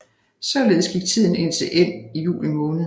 Således gik tiden indtil ind i juli måned